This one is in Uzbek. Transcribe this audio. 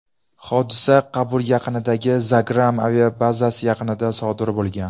Hodisa Qobul yaqinidagi Bagram aviabazasi yaqinida sodir bo‘lgan.